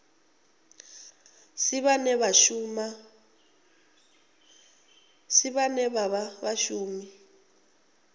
si vhane vha vha vhashumi